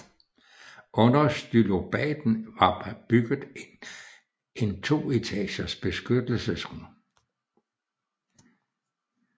Under stylobaten var bygget en to etagers beskyttelsesrum